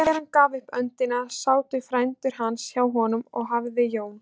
Þegar hann gaf upp öndina sátu frændur hans hjá honum og hafði Jón